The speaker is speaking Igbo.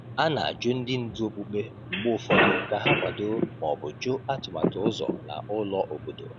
A na-ajụ ndị ndu okpukpe mgbe ụfọdụ ka ha kwado ma ọ bụ jụ atụmatụ ụzọ na ụlọ obodo.